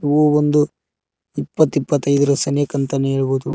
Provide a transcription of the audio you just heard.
ಹೂವೊಂದು ಇಪ್ಪತ್ತು ಇಪ್ಪತೈದರ್ ಸನೆಕ ಅಂತ ಹೇಳಬಹುದು.